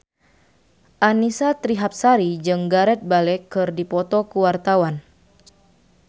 Annisa Trihapsari jeung Gareth Bale keur dipoto ku wartawan